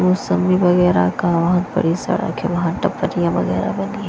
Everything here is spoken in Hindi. मौसम्मी वगैरह का के बाहर वगैरह बनी है।